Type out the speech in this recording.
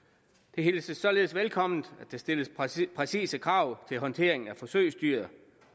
det hilses således velkommen at der stilles præcise præcise krav til håndteringen af forsøgsdyr